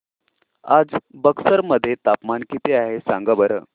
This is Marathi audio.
आज बक्सर मध्ये तापमान किती आहे सांगा बरं